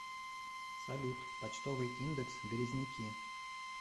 салют почтовый индекс березники